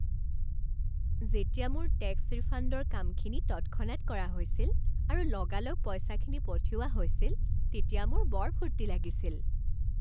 যেতিয়া মোৰ টেক্স ৰিফাণ্ডৰ কামখিনি তৎক্ষণাত কৰা হৈছিল আৰু লগালগ পইচাখিনি পঠিওৱা হৈছিল তেতিয়া মোৰ বৰ ফূৰ্তি লাগিছিল।